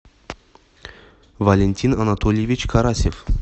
валентин анатольевич карасев